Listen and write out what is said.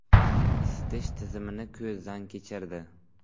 Isitish tizimini ko‘zdan kechirdi.